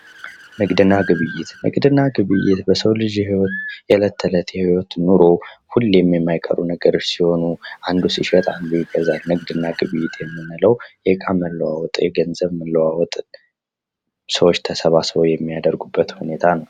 ንግድና ግብይት ንግድና ግብይት በሰዎች የእለት ተለት የህይወት ኑሮ ሁሌም የማይቀሩ ሲሆኑ አንዱ ሲሸጥ አንዱ ይገዛል። ንግድና ግብይት የምንለው የእቃ መለዋወጥ የገዘብ መለዋወጥ ሰዎች ተሰባስበው የሚያደርጉት ሁኔታ ነው።